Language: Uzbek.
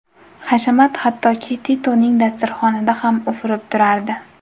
Hashamat hattoki Titoning dasturxonida ham ufurib turardi.